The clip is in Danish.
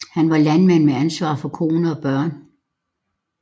Han var landmand med ansvar for kone og børn